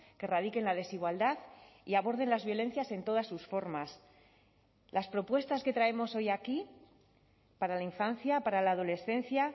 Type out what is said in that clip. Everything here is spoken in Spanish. que radiquen la desigualdad y aborden las violencias en todas sus formas las propuestas que traemos hoy aquí para la infancia para la adolescencia